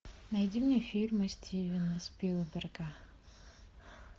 найди мне фильмы стивена спилберга